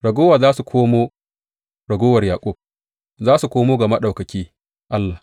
Raguwa za tă komo, raguwar Yaƙub za su komo ga Maɗaukaki Allah.